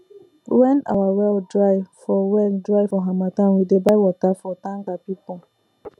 when our well dry for well dry for harmattan we dey buy water from tanker people